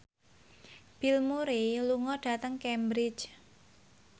Bill Murray lunga dhateng Cambridge